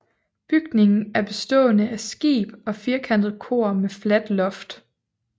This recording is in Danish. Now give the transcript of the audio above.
Bygningen er bestående af skib og firkantet kor med fladt loft